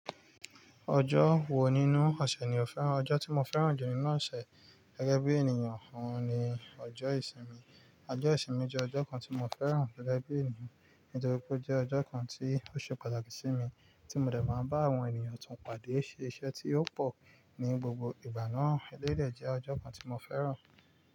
Ọjọ́ wo nínú ọ̀sẹ̀ ni o fẹ́ràn? Ọjọ́ tí mo fẹ́ràn jù nínú ọ̀sẹ̀ gẹ́gẹ́ bí ènìyàn ọ̀hún ni ọjọ́ ìsinmi. Ọjọ́ ìsinmi jẹ́ ọjọ́ kan tí mo fẹ́ràn gẹ́gẹ́ bí ènìyàn, nítorí pé ó jẹ́ ọjọ́ kan tí ó ṣe pàtàkì sí mi, tí mo dẹ̀ máa ń bá àwọn ènìyàn tún padà ṣe iṣẹ́ tí ó pọ̀ ní gbogbo ìgbà náà. Éléyì dẹ́ jẹ́ ọjọ́ kan tí mo fẹ́ràn.